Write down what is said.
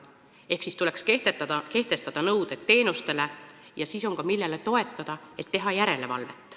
Ehk tuleks kehtestada nõuded teenustele, siis on ka, millele toetuda, et teha järelevalvet.